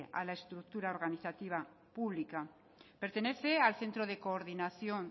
a la estructura organizativa pública pertenece al centro de coordinación